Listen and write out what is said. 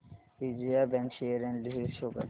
Vijaya bank share analysis show कर